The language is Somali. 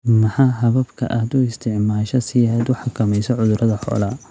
Maxaa hababka aad u isticmaashaa si aad u xakamayso cudurada xoolaha?